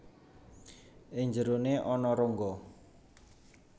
Ing njerone ana rongga